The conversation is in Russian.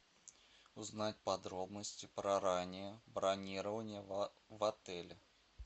узнать подробности про раннее бронирование в отеле